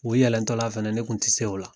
O yɛlɛntɔla fɛnɛ ne kun tise o la.